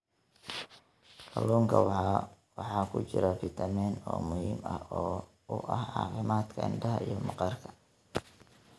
Kalluunka waxaa ku jira fitamiin A oo muhiim u ah caafimaadka indhaha iyo maqaarka.